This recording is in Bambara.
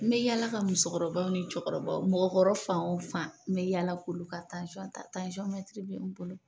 N bɛ yaala ka muso kɔrɔbaw ni cɛ kɔrɔbaw mɔgɔkɔrɔ fan o fan n bɛ yaala k'olu ka tasɔn ta tansɔn mɛtiri bɛ n bolo.